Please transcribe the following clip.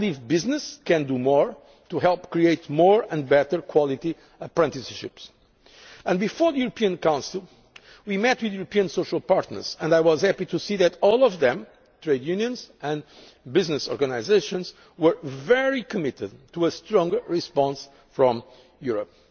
Business can do more to help create more and better quality apprenticeships. Before the European Council we met with the European social partners, and I was happy to see that all of them, trade unions and business organisations, were very committed to a stronger response from